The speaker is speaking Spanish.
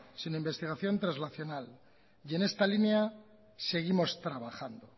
sino investigación traslacional y en esta línea seguimos trabajando